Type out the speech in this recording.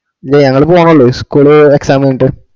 ഇല്ല ഞങ്ങളു പോണോള്ളൂ school exam കഴിഞ്ഞിട്ട്